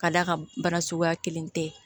Ka d'a kan bana suguya kelen tɛ